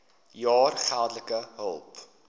jaar geldelike hulp